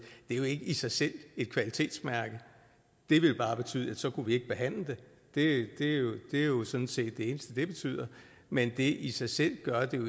i sig selv et kvalitetsmærke det ville bare betyde at så kunne vi ikke behandle det det er jo sådan set det eneste det betyder men det i sig selv gør jo